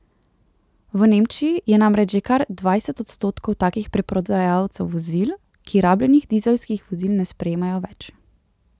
V Nemčiji je namreč že kar dvajset odstotkov takih preprodajalcev vozil, ki rabljenih dizelskih vozil ne sprejemajo več.